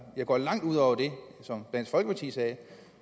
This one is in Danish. går langt ud over det som dansk folkeparti sagde